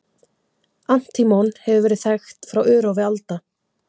Antímon hefur verið þekkt frá örófi alda.